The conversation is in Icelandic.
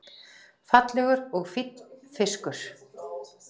Fallegur og fínn fiskur